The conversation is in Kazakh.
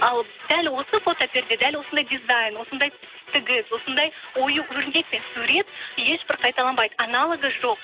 ал дәл осы фотоперде дәл осындай дизайн осындай тігіс осындай ою өрнек пен сурет ешбір қайталанбайды аналогы жоқ